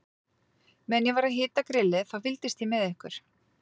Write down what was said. Meðan ég var að hita grillið, þá fylgdist ég með ykkur.